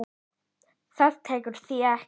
Það tekur því ekki.